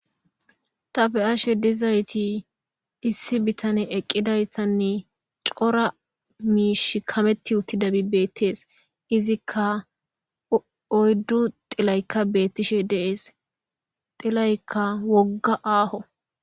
Ta beashe diayiti issi bitane eqidaytanne cora miishshi kametiutidabi betes izika oyddu xelay betishe des xelayika woga aho.